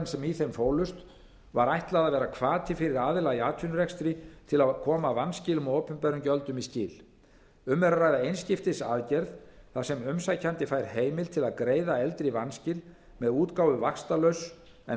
sem í þeim fólust var ætlað að vera hvati fyrir aðila í atvinnurekstri til að koma vanskilum á opinberum gjöldum í skil um er að ræða einskiptisaðgerð þar sem umsækjandi fær heimild til að greiða eldri vanskil með útgáfu vaxtalauss en